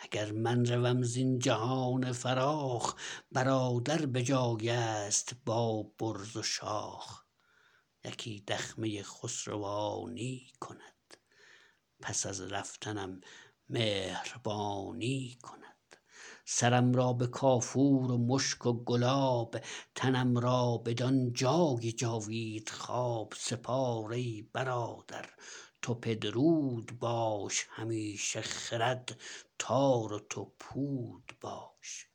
اگر من روم زین جهان فراخ برادر به جایست با برز و شاخ یکی دخمه خسروانی کند پس از رفتنم مهربانی کند سرم را به کافور و مشک و گلاب تنم را بدان جای جاوید خواب سپار ای برادر تو پدرود باش همیشه خرد تار و تو پود باش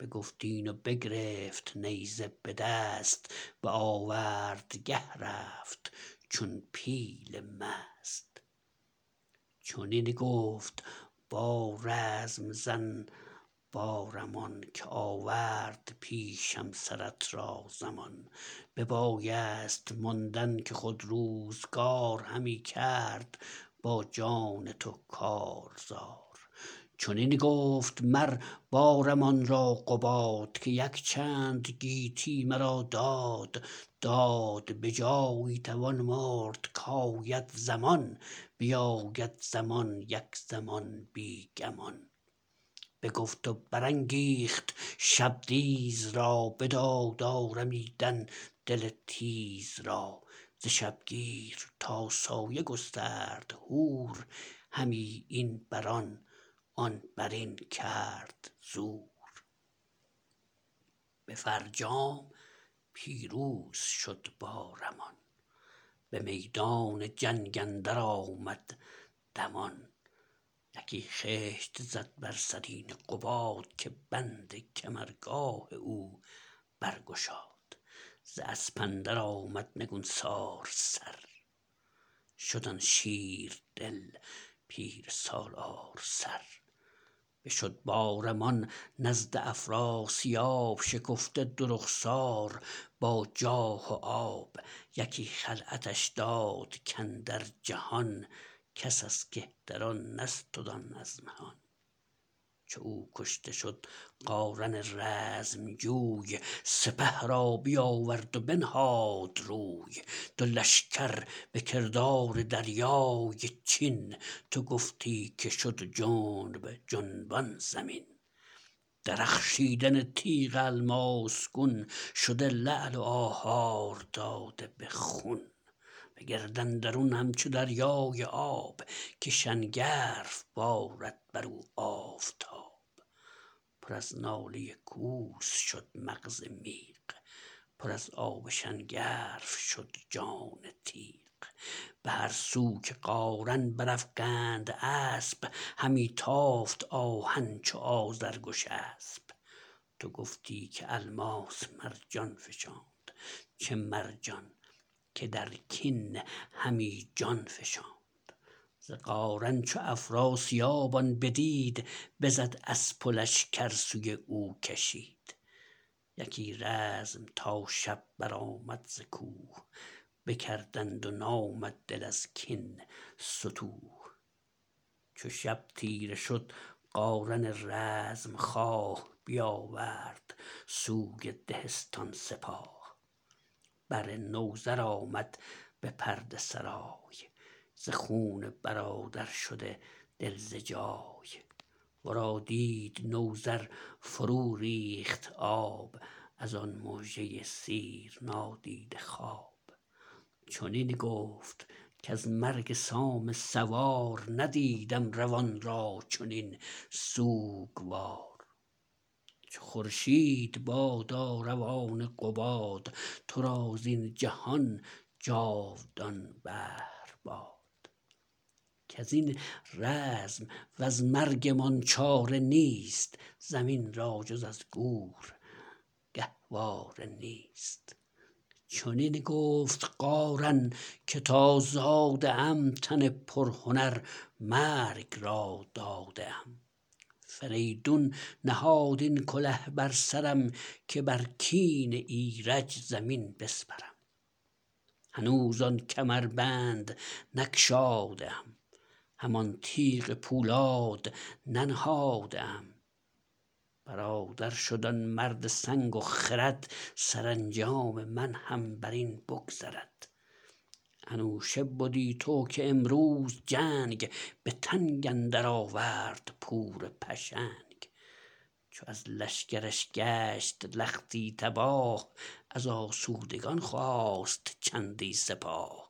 بگفت این و بگرفت نیزه به دست به آوردگه رفت چون پیل مست چنین گفت با رزم زن بارمان که آورد پیشم سرت را زمان ببایست ماندن که خود روزگار همی کرد با جان تو کارزار چنین گفت مر بارمان را قباد که یکچند گیتی مرا داد داد به جایی توان مرد کاید زمان بیاید زمان یک زمان بی گمان بگفت و برانگیخت شبدیز را بداد آرمیدن دل تیز را ز شبگیر تا سایه گسترد هور همی این برآن آن برین کرد زور به فرجام پیروز شد بارمان به میدان جنگ اندر آمد دمان یکی خشت زد بر سرین قباد که بند کمرگاه او برگشاد ز اسپ اندر آمد نگونسار سر شد آن شیردل پیر سالار سر بشد بارمان نزد افراسیاب شکفته دو رخسار با جاه و آب یکی خلعتش داد کاندر جهان کس از کهتران نستد آن از مهان چو او کشته شد قارن رزمجوی سپه را بیاورد و بنهاد روی دو لشکر به کردار دریای چین تو گفتی که شد جنب جنبان زمین درخشیدن تیغ الماس گون شده لعل و آهار داده به خون به گرد اندرون همچو دریای آب که شنگرف بارد برو آفتاب پر از ناله کوس شد مغز میغ پر از آب شنگرف شد جان تیغ به هر سو که قارن برافگند اسپ همی تافت آهن چو آذرگشسپ تو گفتی که الماس مرجان فشاند چه مرجان که در کین همی جان فشاند ز قارن چو افراسیاب آن بدید بزد اسپ و لشکر سوی او کشید یکی رزم تا شب برآمد ز کوه بکردند و نامد دل از کین ستوه چو شب تیره شد قارن رزمخواه بیاورد سوی دهستان سپاه بر نوذر آمد به پرده سرای ز خون برادر شده دل ز جای ورا دید نوذر فروریخت آب ازان مژه سیرنادیده خواب چنین گفت کز مرگ سام سوار ندیدم روان را چنین سوگوار چو خورشید بادا روان قباد ترا زین جهان جاودان بهر باد کزین رزم وز مرگمان چاره نیست زمی را جز از گور گهواره نیست چنین گفت قارن که تا زاده ام تن پرهنر مرگ را داده ام فریدون نهاد این کله بر سرم که بر کین ایرج زمین بسپرم هنوز آن کمربند نگشاده ام همان تیغ پولاد ننهاده ام برادر شد آن مرد سنگ و خرد سرانجام من هم برین بگذرد انوشه بدی تو که امروز جنگ به تنگ اندر آورد پور پشنگ چو از لشکرش گشت لختی تباه از آسودگان خواست چندی سپاه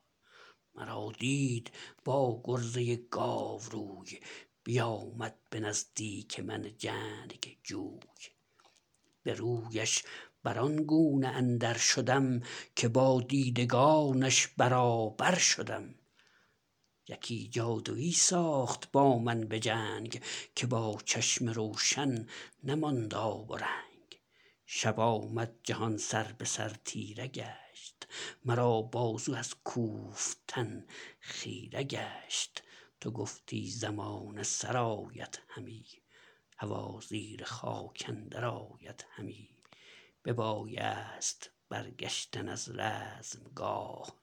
مرا دید با گرزه گاوروی بیامد به نزدیک من جنگجوی به رویش بران گونه اندر شدم که با دیدگانش برابر شدم یکی جادوی ساخت با من به جنگ که با چشم روشن نماند آب و رنگ شب آمد جهان سر به سر تیره گشت مرا بازو از کوفتن خیره گشت تو گفتی زمانه سرآید همی هوا زیر خاک اندر آید همی ببایست برگشتن از رزمگاه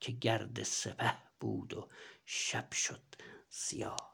که گرد سپه بود و شب شد سیاه